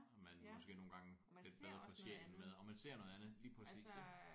Og man måske nogle gange lidt bedre får sjælen med. Og man ser noget andet lige præcis ik